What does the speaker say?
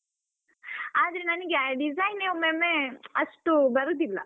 ಆದ್ರೆ ನನ್ಗೆ ಆ design ಯೇ ಒಮ್ಮೊಮ್ಮೆ ಅಷ್ಟು ಬರೂದಿಲ್ಲ.